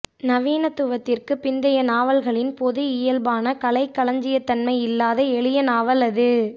நவீனத்துவத்திற்கு பிந்தைய நாவல்களின் பொது இயல்பான கலைக்களஞ்சியத்தன்மை இல்லாத எளிய நாவல் அது